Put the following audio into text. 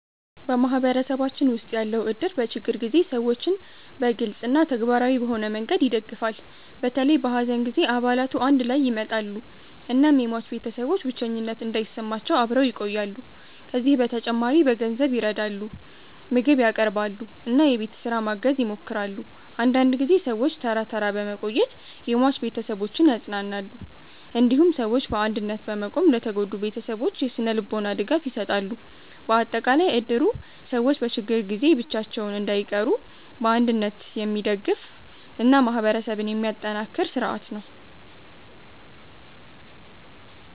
በማህበረሰባችን ውስጥ ያለው እድር በችግር ጊዜ ሰዎችን በግልጽ እና ተግባራዊ በሆነ መንገድ ይደግፋል። በተለይ በሐዘን ጊዜ አባላቱ አንድ ላይ ይመጣሉ እናም የሟች ቤተሰቦች ብቸኝነት እንዳይሰማቸው አብረው ይቆያሉ። ከዚህ በተጨማሪ በገንዘብ ይረዳሉ፣ ምግብ ያቀርባሉ እና የቤት ስራ ማገዝ ይሞክራሉ። አንዳንድ ጊዜ ሰዎች ተራ ተራ በመቆየት የሟች ቤተሰቦችን ያጽናናሉ። እንዲሁም ሰዎች በአንድነት በመቆም ለተጎዱ ቤተሰቦች የስነ-ልቦና ድጋፍ ይሰጣሉ። በአጠቃላይ እድሩ ሰዎች በችግር ጊዜ ብቻቸውን እንዳይቀሩ በአንድነት የሚደግፍ እና ማህበረሰብን የሚያጠናክር ስርዓት ነው።